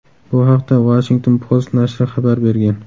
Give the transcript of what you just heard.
Bu haqda Washington Post nashri xabar bergan .